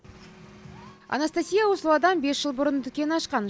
анастасия услуадам бес жыл бұрын дүкен ашқан